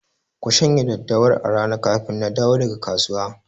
Ku shanya daddawar a rana kafin na dawo daga kasuwa!